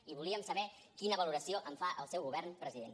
i volíem saber quina valoració en fa el seu govern president